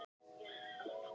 Þau drukku heitt súkkulaðið.